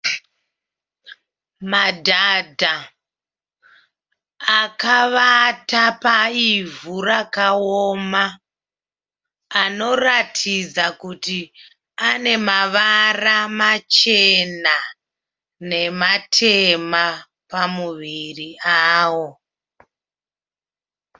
Madhadha akavata paivhu rakaoma, anoratidza kuti anemavara machena nematema pamuviri awo.